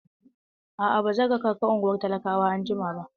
A'a, ba zan raka ka ungwar talakawa anjima ba.